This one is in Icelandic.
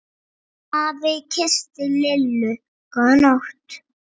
Afi kyssti Lillu góða nótt.